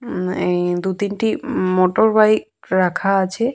উম এই দু তিনটি উম মোটরবাইক রাখা আছে।